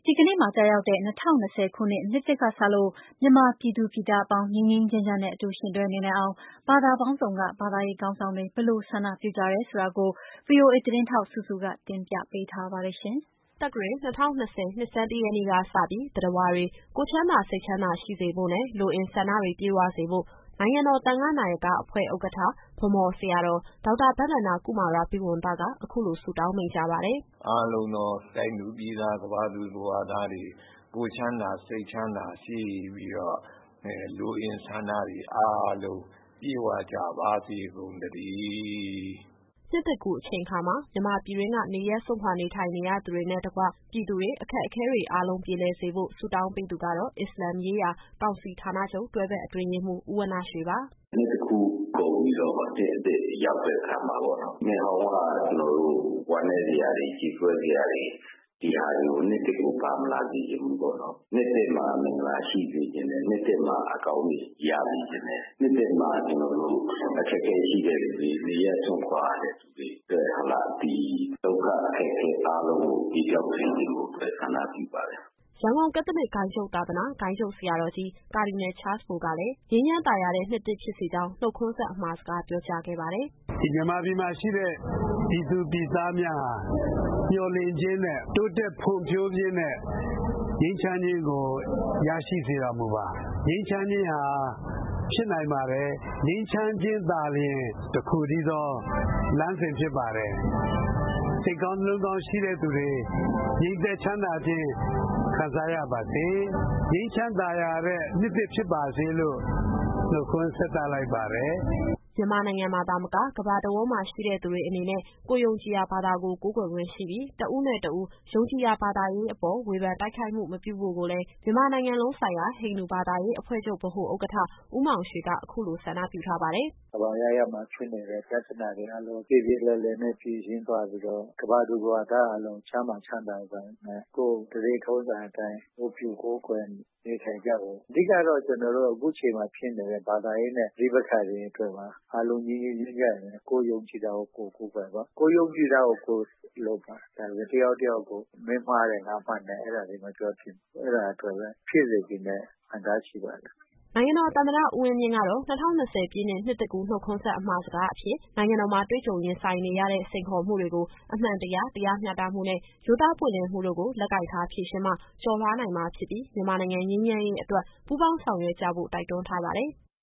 ီကနေ့မှာ ကျရောက်တဲ့ ၂၀၂၀ နှစ်သစ်ကစလို့ မြန်မာပြည်သူပြည်သား အပေါင်း ငြိမ်းငြိမ်း ချမ်းချမ်းနဲ့ အတူယှဉ်တွဲ နေနိုင်အောင် ဘာသာပေါင်းစုံက ဘာသာရေးခေါင်းဆောင်တွေ ဘယ်လို ဆန္ဒပြု ကြတယ် ဆိုတာကို ဗွီအိုအေသတင်းထောက် စုစုက ပြောပြ ပေးမှာပါ။ ခရစ်သက္ကရာဇ် ၂၀၂၀ နှစ်ဆန်းတရက်နေ့ကစပြီး သတ္တဝါတွေ ကိုယ်ချမ်းသာ စိတ်ချမ်းသာရှိစေဖို့ နဲ့ လိုအင်ဆန္ဒတွေ ပြည့်ဝစေဖို့ နိုင်ငံတော်သံဃနာယက အဖွဲ့ ဥက္ကဋ္ဌ ဗန်းမော်ဆရာတော် ဒေါက်တာဘဒ္ဒန ္တ ကုမာရာဘိဝံသက အခုလိုဆုတောင်း မိန့်ကြား ပါတယ်။ “အားလုံးသော တိုင်းသူပြည်သား ကမ္ဘာသူ ကမ္ဘာသားတွေ ကိုယ်ချမ်းသာစိတ်ချမ်းသာ ရှိပြီးတော့ လိုအင်ဆန္ဒတွေအားလုံး ပြည့်ဝကြပါစေကုန် သတည်း။” နှစ်သစ်ကူးအချိန်ခါမှာ မြန်မာပြည်တွင်းက နေရပ်စွန့်ခွာ နေထိုင်ရသူတွေနဲ့ တကွ ပြည်သူတွေ အခက်အခဲတွေ အားလုံး ပြေလည်စေဖို့ ဆုတောင်းပေးသူကတော့ အစ္စလာမ်ရေးရာ ကောင်စီဌာနချုပ် တွဲဖက်အတွင်းရေးမှူး ဦးဝဏ္ဏရွှေ ပါ။ “နှစ်သစ်ကူးကုန်ပြီးတော့ နှစ်အသစ်ရောက်တဲ့အခါမှာပေါ့နော် နှစ်ဟောင်းက ဝမ်းနည်းစရာတွေ ကြေကွဲစရာတွေ ဒီဟာတွေကို နှစ်သစ်ကို ပါမလာစေချင်ဘူးပေါ့နော်။ နှစ်သစ်မှာ မင်္ဂလာရှိစေချင်တယ်။ နှစ်သစ်မှာ အကောင်းတွေ ရစေချင်တယ်။ နှစ်သစ်မှာ အခက်အခဲရှိတဲ့သူတွေ နေရပ်စွန့်ခွာရသူတွေအတွက် ဒီဒုက္ခအခက်အခဲအားလုံးကို ပြေပျောက်စေဖို့အတွက် ဆန္ဒပြုပါတယ်။” ရန်ကုန်ကက်သလစ် ဂိုဏ်းချုပ်သာသနာ၊ ဂိုဏ်းချုပ်ဆရာတော်ကြီး ကာဒီနယ်ချားလ်စ်ဘို ကလည်း ငြိမ်းချမ်းသာယာတဲ့ နှစ်သစ်ဖြစ်စေကြောင်း နှုတ်ခွန်းဆက် အမှာစကား ပြောကြားခဲ့ပါတယ်။ “မြန်မာပြည်မှာရှိတဲ့ ပြည်သူပြည်သားများဟာ မျှော်လင့်ခြင်းနဲ့ တိုးတက်ဖွံ့ဖြိုးခြင်းနဲ့ ငြိမ်းချမ်းခြင်းကို ရရှိစေတော်မူပါ။ ငြိမ်းချမ်းခြင်းဟာ ဖြစ်နိုင်ပါတယ်။ ငြိမ်းချမ်းခြင်းသာလျှင် တခုတည်းသော လမ်းစဉ်ဖြစ်ပါတယ်။ စိတ်ကောင်း နှလုံးကောင်း ရှိတဲ့သူတွေ ငြိမ်သက်ချမ်းသာခြင်း ခံစားရပါစေ။ ငြိမ်းချမ်းသာယာတဲ့ နှစ်သစ်ဖြစ်ပါစေလို့ နှုတ်ခွန်းဆက်သလိုက်ပါတယ်။” မြန်မာနိုင်ငံမှာသာမက ကမ္ဘာတဝန်းမှာရှိတဲ့သူတွေအနေနဲ့ ကိုယ်ယုံကြည်ရာဘာသာကို ကိုးကွယ်ခွင့်ရှိပြီး တဦးနဲ့တဦး ယုံကြည်ရာဘာသာရေးအပေါ် ဝေဖန်တိုက်ခိုက်မှု မပြုဖို့ကိုလည်း မြန်မာနိုင်ငံလုံးဆိုင်ရာ ဟိန္ဒူဘာသာရေးအဖွဲ့ချုပ်ဗဟို ဥက္ကဋ္ဌ ဦးမောင်ရွှေက အခုလိုဆန္ဒပြုထားပါတယ်။ “ကမ္ဘာအရပ်ရပ်မှာ ဖြစ်နေတဲ့ပြဿနာတွေအားလုံး ပြေပြေလည်လည်နဲ့ ဖြေရှင်းသွားပြီးတော့ ကမ္ဘာသူ ကမ္ဘာသားအားလုံး ကျန်းမာချမ်းသာစွာနဲ့ ကိုယ့်ဓလေ့ထုံးစံအတိုင်း ဝတ်ပြုကိုးကွယ်နေထိုင်ကြဖို့။ အဓိကတော့ ကျတော်တို့အခုချိန်မှာ ဖြစ်နေတဲ့ ဘာသာရေးနဲ့ ပဋိပက္ခတွေအတွက်ပါ။ အားလုံးငြိမ်းငြိမ်းချမ်းချမ်းနဲ့ ကိုယ်ယုံကြည်တာကို ကိုယ်ကိုးကွယ်ပါ။ ကိုယ်ယုံကြည်တာကို ကိုယ်လုပ်ပါ။ ဒါပေမယ့် တယောက်နဲ့တယောက် မင်းမှားတယ် ငါမှန်တယ် အဲဒါတွေမပြောသင့်ဘူး။ အဲဒါအတွက်ပဲ ဖြစ်စေချင်တဲ့ ဆန္ဒရှိပါတယ်။” နိုင်ငံတော်သမ္မတ ဦးဝင်းမြင့်ကတော့ ၂၀၂၀ ပြည့်နှစ် နှစ်သစ်ကူးနှုတ်ခွန်းဆက် အမှာစကား အဖြစ် နိုင်ငံတော်မှာ တွေ့ကြုံရင်ဆိုင်နေရတဲ့ စိန်ခေါ်မှုတွေကို အမှန်တရား၊ တရားမျှတမှုနဲ့ ရိုးသားပွင့်လင်းမှုတို့ကို လက်ကိုင်ထားဖြေရှင်းမှ ကျော်လွှားနိုင်မှာ ဖြစ်ပြီး မြန်မာနိုင်ငံ ငြိမ်းချမ်းရေး အတွက် ပူးပေါင်း ဆောင်ရွက် ကြဖို့ တိုက်တွန်းထားပါတယ်။